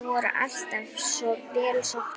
Þeir eru alltaf vel sóttir.